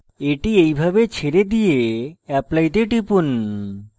এটি এইভাবে ছেড়ে দিয়ে apply তে টিপুন